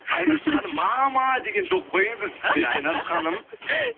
айнаш ханым мама деген жоқ қой енді сізде айнаш ханым